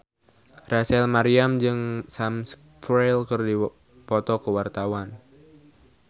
Rachel Maryam jeung Sam Spruell keur dipoto ku wartawan